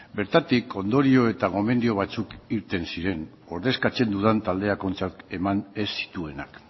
bertatik ondorio eta gomendio batzuk irten ziren ordezkatzen dudan taldeak ontzat eman ez zituenak